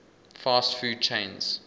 fast food chains